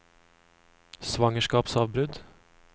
svangerskapsavbrudd